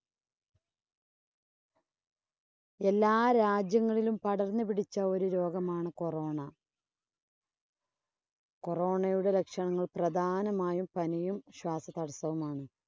എല്ലാ രാജ്യങ്ങളിലും പടർന്നു പിടിച്ച ഒരു രോഗമാണ് corona Corona യുടെ ലക്ഷണങ്ങൾ പ്രധാനമായും പനിയും, ശ്വാസതടസ്സവുമാണ്.